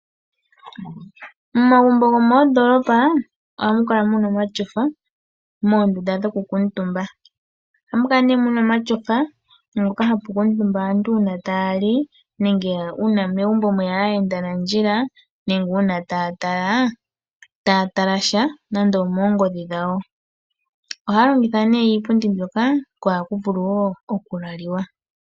Momagumbo gomondoolopa ohamu kala muna omatyofa moondunda dhoku kuutumba. Ohamu kala nee muna omatyofa moka hamu kuutumba aantu uuna taya li nenge uuna megumbo mweya aayendanandjila nenge uuna taya tala sha nando omoongodhi dhawo. Ohaya longitha nee iipundi mbyoka ko ohaku vulu woo okulaliwa.